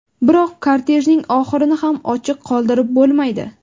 Biroq kortejning oxirini ham ochiq qoldirib bo‘lmaydi.